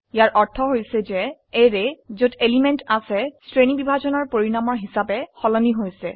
ইয়াৰ অৰ্থ হৈছে যে অ্যাৰে যত এলিমেন্ট আছে শ্ৰেণীবিভাজনৰ পৰিনামৰ হিসাবে সলনি হৈছে